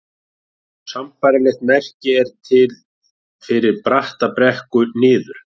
Sambærilegt merki er til fyrir bratta brekku niður.